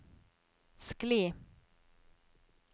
skli